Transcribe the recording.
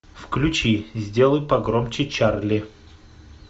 включи сделай погромче чарли